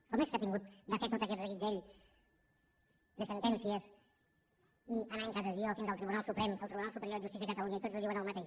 com és que ha hagut de fer tot aquest reguitzell de sentències i anar a cassació fins al tribunal suprem el tribunal superior de justícia de catalunya i tots li diuen el mateix